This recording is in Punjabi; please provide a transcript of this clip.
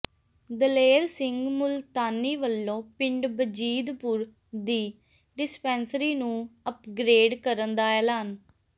ਦਲੇਰ ਸਿੰਘ ਮੁਲਤਾਨੀ ਵੱਲੋਂ ਪਿੰਡ ਬਜੀਦਪੁਰ ਦੀ ਡਿਸਪੈਂਸਰੀ ਨੂੰ ਅਪਗ੍ਰੇਡ ਕਰਨ ਦਾ ਐਲਾਨ